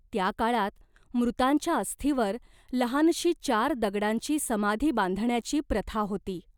त्या काळात मृतांच्या अस्थीवर लहानशी चार दगडांची समाधी बांधण्याची प्रथा होती.